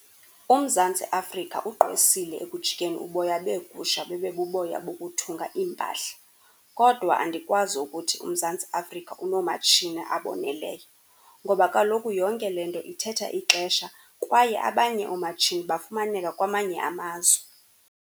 UMzantsi Afrika ugqwesile ekujikeni uboya beegusha bube buboya bokuthunga iimpahla, kodwa andikwazi ukuthi uMzantsi Afrika unoomatshini aboneleyo ngoba kaloku yonke le nto ithetha ixesha kwaye abanye oomatshini bafumaneka kwamanye amazwe.